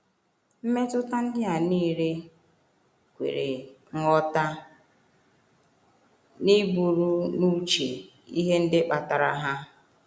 Mmetụta ndị a nile kwere nghọta n’iburu n’uche ihe ndị kpatara ha.